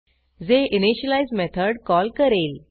जे initialise method call करेल